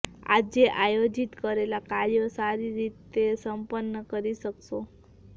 આજે આયોજિત કરેલા કાર્યો સારી રીતે સંપન્ન કરી શકશો